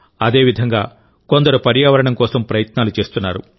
అదేవిధంగా కొందరు పర్యావరణం కోసం ప్రయత్నాలు చేస్తున్నారు